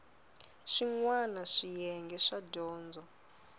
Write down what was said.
swin wana swiyenge swo dyondza